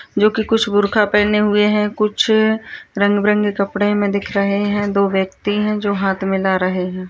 जो की कुछ बुरखा पहने हुए हैं कुछ रंग-बिरंगे कपड़े में दिख रहें हैं दो व्यक्ति हैं जो हाथ मिला रहें हैं।